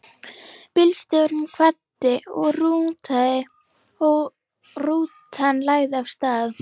Bílstjórinn kvaddi og rútan lagði af stað.